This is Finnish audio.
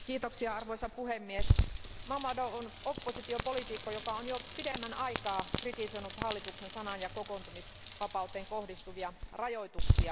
Arvoisa puhemies, Mammadov on oppositiopoliitikko, joka on jo pidemmän aikaa kritisoinut hallituksen sanan ja kokoontumisvapauteen kohdistuvia rajoituksia.